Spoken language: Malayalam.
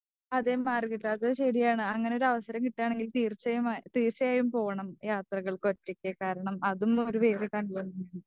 അതേ മാർഗരറ്റ് അത് ശരിയാണ്. അങ്ങനെ ഒരവസരം കിട്ടുവാണെങ്കിൽ തീർച്ചമായും തീർച്ചയായും പോണം. യാത്രകൾക്ക് ഒറ്റയ്ക്ക് കാരണം അതും ഒരു വേറിട്ട അനുഭവമായിരിക്കും.